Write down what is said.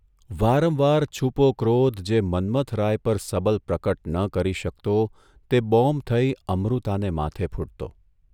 વારંવાર છૂપો ક્રોધ જે મન્મથરાય પર સબલ પ્રકટ ન કરી શકતો તે બોમ્બ થઇ અમૃતાને માથે ફૂટતો.